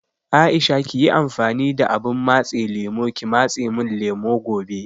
Aisha kiyi amfani da abun matse lemo ki matse mun lemo gobe